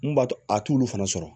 Mun b'a to a t'olu fana sɔrɔ